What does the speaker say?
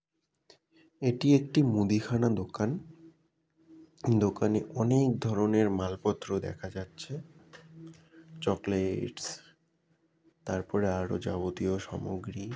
এটি একটি মুদিখানা দোকান দোকানে অনেক ধরনের মাল পত্র দেখা যাচ্ছে চকলে-এ-টস তার পরে আরও যাবতীয় সামগ্রী --